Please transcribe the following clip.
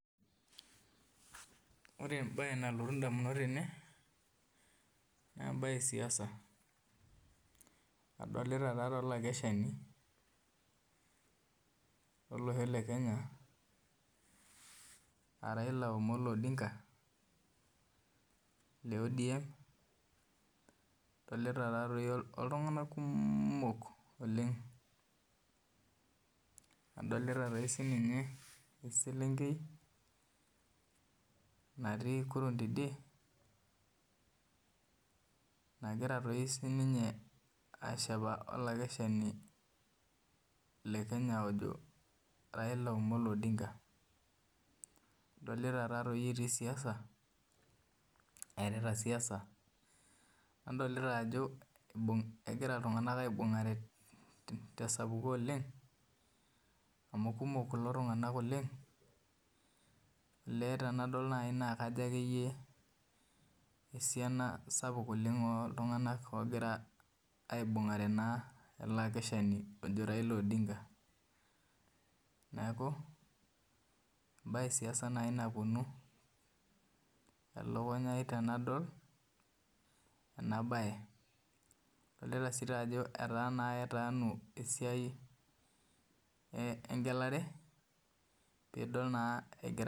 Orre embaye nalotu indamunot tene naa imbaa esiasa odolita olakenshani lolosho lekenya araila amolo odinga le odm odoita oltung'ani kumok adolita eselenkei natii kurom tidie nagira aakesha oraila odinga adolita taadoi etiu siaasa adolita ajo egira iltung'anak aibung'are tesapuko oleng amu kumok kulo tung'anak oleng olee tenadol naaji naa esiana oltung'an oogira aibung'a re ele akeshani oji raila odinga adol sii ajo etaa naa ketaanu esiai engelare peidol naa